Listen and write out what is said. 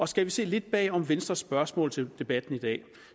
skal vi se lidt bag om venstres spørgsmål til debatten i dag